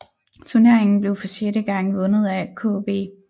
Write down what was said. Turneringen blev for sjette gang vundet af KB